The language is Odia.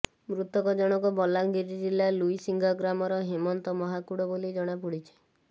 ମୃତକ ଜଣକ ବଲାଙ୍ଗୀର ଜିଲ୍ଲା ଲୁଇସିଙ୍ଗା ଗ୍ରାମର ହେମନ୍ତ ମହାକୁଡ଼ ବୋଲି ଜଣାପଡ଼ିଛି